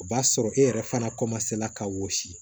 O b'a sɔrɔ e yɛrɛ fana ka wɔsi